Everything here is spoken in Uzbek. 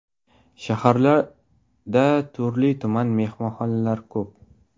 Shaharda turli-tuman mehmonxonalar ko‘p.